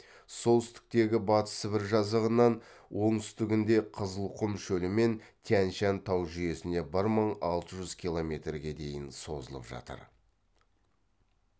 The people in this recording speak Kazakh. солтүстіктегі батыс сібір жазығынан оңтүстігінде қызылқұм шөлі мен тянь шань тау жүйесіне бір мың алты жүз километрге дейін созылып жатыр